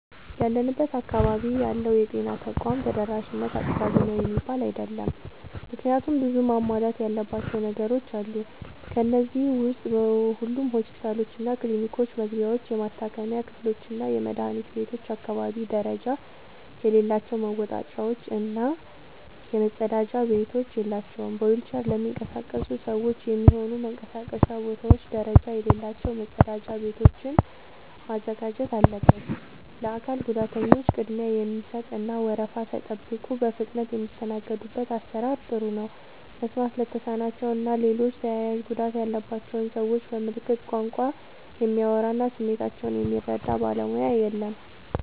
ያለንበት አካባቢ ያለው የጤና ተቋም ተደራሽነት አጥጋቢ ነው የሚባል አይደለም። ምክንያቱም ብዙ መሟላት ያለባቸው ነገሮች አሉ። ከነዚህ ዉስጥ በሁሉም ሆስፒታሎችና ክሊኒኮች መግቢያዎች፣ የመታከሚያ ክፍሎችና የመድኃኒት ቤቶች አካባቢ ደረጃ የሌላቸው መወጣጫዎች እና መጸዳጃ ቤቶች የላቸውም። በዊልቸር ለሚንቀሳቀሱ ሰዎች የሚሆኑ መንቀሳቀሻ ቦታዎች ደረጃ የሌላቸው መጸዳጃ ቤቶችን ማዘጋጀት አለበት። ለአካል ጉዳተኞች ቅድሚያ የሚሰጥ እና ወረፋ ሳይጠብቁ በፍጥነት የሚስተናገዱበት አሰራር ጥሩ ነው። መስማት ለተሳናቸው እና ሌሎች ተያያዥ ጉዳት ያለባቸውን ሰዎች በምልክት ቋንቋ የሚያወራ እና ስሜታቸውን የሚረዳ ባለሙያ የለም።